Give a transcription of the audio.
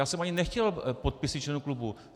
Já jsem ani nechtěl podpisy členů klubu.